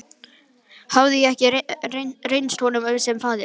Hafði ég ekki reynst honum sem faðir?